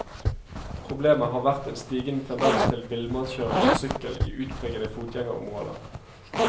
Problemet har vært en stigende tendens til villmannskjøring på sykkel i utpregede fotgjengerområder.